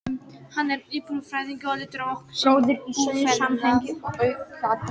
Hann er búfræðingur og lítur á okkur sem búfénað.